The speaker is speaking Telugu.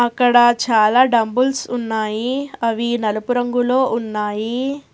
అక్కడ చాలా డబ్బులు ఉన్నాయి అవి నలుపు రంగులో ఉన్నాయి.